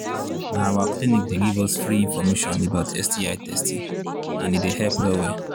na our clinic they give us free information about sti testing and he they help well well